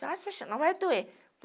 não vai doer.